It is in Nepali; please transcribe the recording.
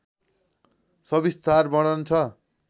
सविस्तार वर्णन छ